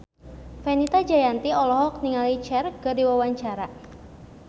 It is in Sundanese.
Fenita Jayanti olohok ningali Cher keur diwawancara